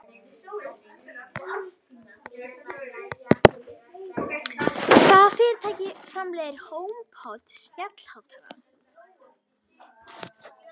Hvaða fyrirtæki framleiðir Homepod snjallhátalarann?